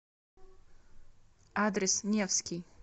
адрес невский